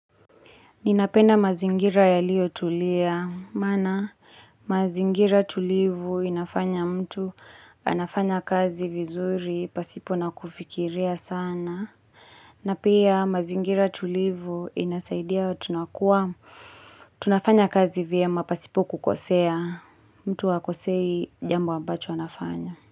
Ninapenda mazingira yaliyo tulia, maana mazingira tulivu inafanya mtu anafanya kazi vizuri pasipo na kufikiria sana. Na pia mazingira tulivu inasaidia tunakua, tunafanya kazi vyema pasipo kukosea, mtu hakosei jambu ambacho anafanya.